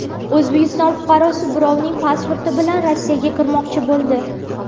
O‘zbekiston fuqarosi birovning pasporti bilan Rossiyaga kirmoqchi bo‘ldi.